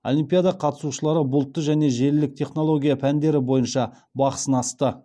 олимпиада қатысушылары бұлтты және желілік технология пәндері бойынша бақ сынасты